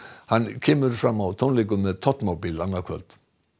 hann kemur fram á tónleikum með Todmobile annað kvöld